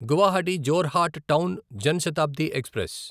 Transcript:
Guwahati Jorhat town Jan Shatabdi express